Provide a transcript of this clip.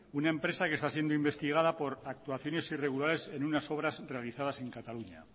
una empresa que está siendo investigada por actuaciones irregulares en unas obras realizadas en cataluña